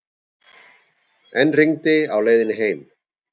Enn rigndi á leiðinni heim.